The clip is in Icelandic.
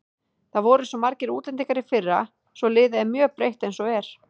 Það voru svo margir útlendingar í fyrra svo liðið er mjög breytt eins og er.